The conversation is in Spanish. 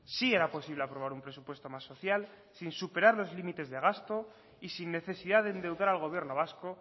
sí era posible aprobar un presupuesto más social sin superar los límites de gasto y sin necesidad de endeudar al gobierno vasco